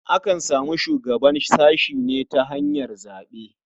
Akan samu shugaban sashe ne ta hanyar zaɓe.